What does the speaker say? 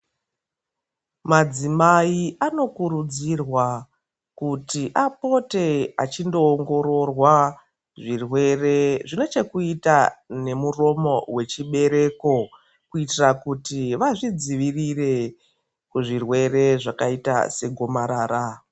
Madzimai anokurudzirwa kuti apote achindo ongororwa zvirwere zvine chekuita nemuromo wechibereko kuitira kuti vazvidzivirire kuzvirwere zvakaita segomarara.